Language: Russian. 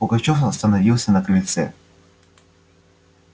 пугачёв остановился на крыльце